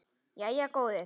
Jæja góði.